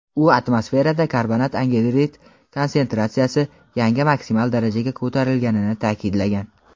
u atmosferada karbonat angidrid konsentratsiyasi yangi maksimal darajaga ko‘tarilganini ta’kidlagan.